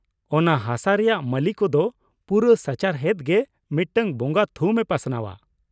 ᱚᱱᱟ ᱦᱟᱥᱟ ᱨᱮᱭᱟᱜ ᱢᱟᱹᱞᱤ ᱠᱚᱫᱚ ᱯᱩᱨᱟᱹ ᱥᱟᱪᱟᱨᱦᱮᱫ ᱜᱮ ᱢᱤᱫᱴᱟᱝ ᱵᱚᱸᱜᱟ ᱛᱷᱩᱢ ᱮ ᱯᱟᱥᱱᱟᱣᱼᱟ ᱾